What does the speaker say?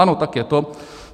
Ano, tak je to.